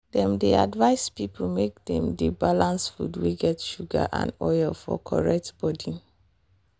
dem dey advice people make dem dey balance food wey get sugar and oil for correct body.